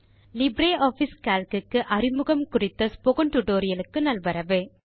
LibreOffice Calc க்கு அறிமுகம் குறித்த ஸ்போக்கன் டியூட்டோரியல் க்கு நல்வரவு